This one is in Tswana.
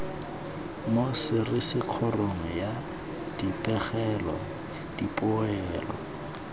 mo serisikgolong ya dipegelo dipoelo